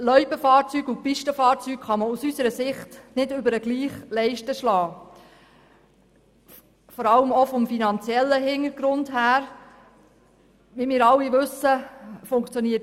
Pistenfahrzeuge und Loipenfahrzeuge kann man aus unserer Sicht insbesondere bezüglich dem finanziellen Hintergrund nicht über den gleichen Leisten schlagen.